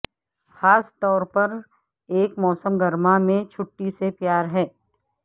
خاص طور پر ایک موسم گرما میں چھٹی سے پیار ہے